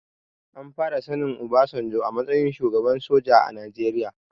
An fara sanin obasanjo a matsayin shugaba soja a najeria